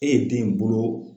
E ye den bolo